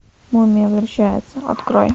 мумия возвращается открой